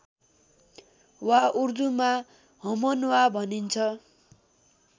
वा उर्दूमा हमनवाँ भनिन्छ